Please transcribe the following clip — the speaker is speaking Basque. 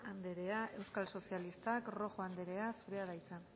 andrea euskal sozialistak rojo andrea zurea da hitza